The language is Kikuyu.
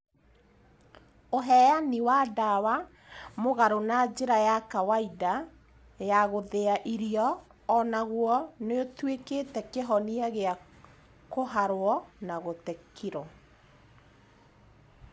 ũheani wa ndawa mũgarũ na njĩra ya kawaida ya gũthĩa irio onaguo noũtuĩke kĩhonia gĩa kũharwo na gũte kirũ